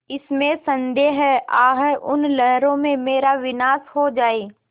इसमें संदेह है आह उन लहरों में मेरा विनाश हो जाए